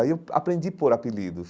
Aí eu aprendi pôr apelidos.